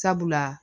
Sabula